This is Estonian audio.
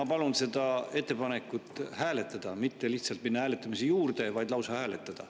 Ma palun seda ettepanekut hääletada – mitte lihtsalt minna hääletamise juurde, vaid lausa hääletada.